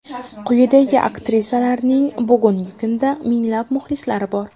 Quyidagi aktrisalarning bugungi kunda minglab muxlislari bor.